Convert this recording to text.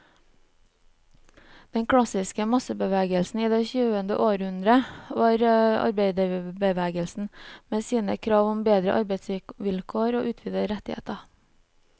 Den klassiske massebevegelsen i det tyvende århundre var arbeiderbevegelsen, med sine krav om bedre arbeidsvilkår og utvidede rettigheter.